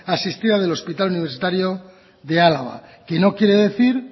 asistida del hospital universitario de álava que no quiere decir